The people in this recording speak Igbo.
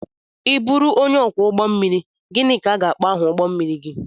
I bụru onye ọkwọ ụgbọ mmiri, gịnị ka a ga-akpọ aha ụgbọ mmiri gị?